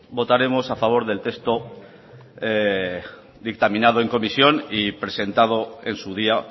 votaremos a favor del texto dictaminado en comisión y presentado en su día